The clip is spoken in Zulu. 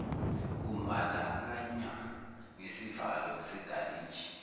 kumbandakanywa nesivalo segalaji